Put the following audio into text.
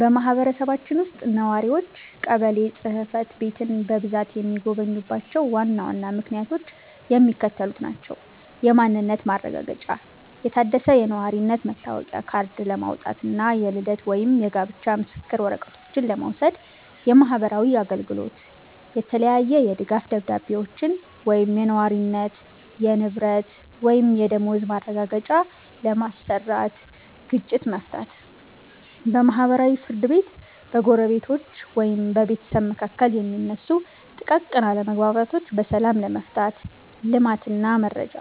በማህበረሰባችን ውስጥ ነዋሪዎች ቀበሌ ጽሕፈት ቤትን በብዛት የሚጎበኙባቸው ዋና ዋና ምክንያቶች የሚከተሉት ናቸው፦ የማንነት ማረጋገጫ፦ የታደሰ የነዋሪነት መታወቂያ ካርድ ለማውጣት እና የልደት ወይም የጋብቻ ምስክር ወረቀቶችን ለመውሰድ። የማህበራዊ አገልግሎት፦ የተለያየ የድጋፍ ደብዳቤዎችን (የነዋሪነት፣ የንብረት ወይም የደመወዝ ማረጋገጫ) ለማሰራት። ግጭት መፍታት፦ በማህበራዊ ፍርድ ቤት በጎረቤቶች ወይም በቤተሰብ መካከል የሚነሱ ጥቃቅን አለመግባባቶችን በሰላም ለመፍታት። ልማት እና መረጃ፦